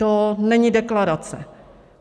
To není deklarace.